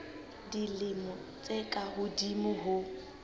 dilemo tse ka hodimo ho